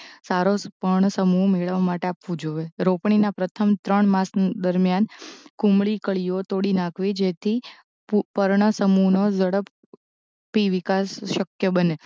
સારો પર્ણસમૂહ મેળવવા માટે આપવું જોવે રોપણીના પ્રથમ ત્રણ માસ દરમ્યાન કુમળી કળીઓ તોડી નાખવી જેથી પુ પર્ણસમૂહનો ઝડપ પી વિકાસ શક્ય બને